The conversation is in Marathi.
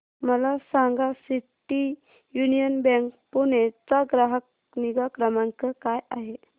मला सांगा सिटी यूनियन बँक पुणे चा ग्राहक निगा क्रमांक काय आहे